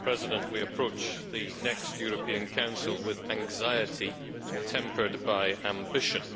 Mr President, we approach the next European Council with anxiety tempered by ambition.